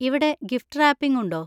ഇവിടെ gift wrapping ഉണ്ടോ?